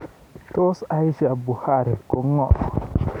Tos Aisha Buhari ko ng'o?